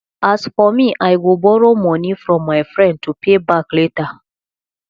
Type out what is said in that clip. as for me i go borrow money from my friend to pay back later